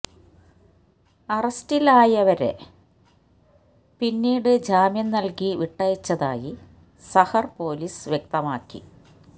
അറസ്റ്റിലായവരെ പിന്നീട് ജാമ്യം നല്കി വിട്ടയച്ചതായി സഹര് പൊലീസ് വ്യക്തമാക്കി